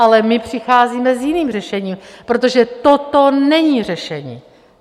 Ale my přicházíme s jiným řešením, protože toto není řešení.